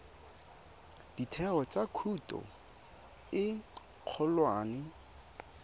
ditheo tsa thuto e kgolwane